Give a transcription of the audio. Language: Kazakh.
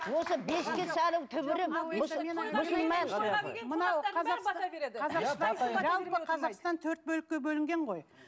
осы бесікке салу түбірі жалпы қазақстан төрт бөлікке бөлінген ғой